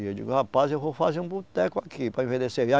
E eu digo, rapaz, eu vou fazer um boteco aqui para ir vender